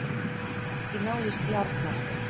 Ekki náðist í Arnar